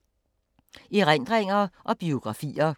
Erindringer og biografier